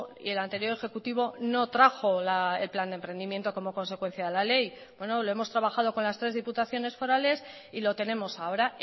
y el anterior ejecutivo no trajo el plan de emprendimiento como consecuencia de la ley lo hemos trabajado con las tres diputaciones forales y lo tenemos ahora